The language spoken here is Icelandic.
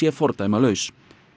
fordæmalaus